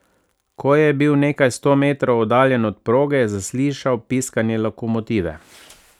Ko je bil nekaj sto metrov oddaljen od proge, je zaslišal piskanje lokomotive.